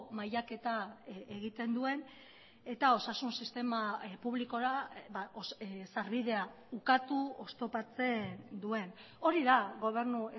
mailaketa egiten duen eta osasun sistema publikora sarbidea ukatu oztopatzen duen hori da gobernu